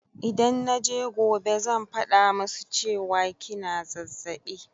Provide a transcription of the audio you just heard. Idan naje gobe zan faɗa musu cewa kina zazzaɓi